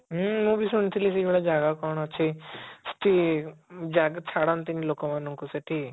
ହଁ ମୁଁ ବି ଶୁଣିଥିଲି ସେଇଭଳିଆ ଜାଗା କଣ ଅଛି କି ଜାଗା ଛାଡନ୍ତିନି ଲୋକମାନଙ୍କୁ ସେଠି